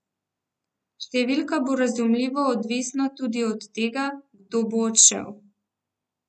Številka bo razumljivo odvisna tudi od tega, kdo bo odšel.